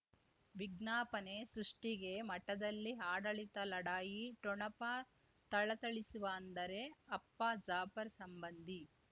ವಿಜ್ಞಾಪನೆ ಸೃಷ್ಟಿಗೆ ಮಠದಲ್ಲಿ ಆಡಳಿತ ಲಢಾಯಿ ಠೊಣಪ ಥಳಥಳಿಸುವ ಅಂದರೆ ಅಪ್ಪ ಜಾಫರ್ ಸಂಬಂಧಿ